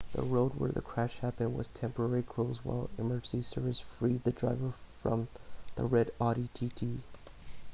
the road where the crash happened was temporarily closed while emergency services freed the driver from the red audi tt